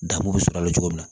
Danbo bɛ sɔrɔ a la cogo min na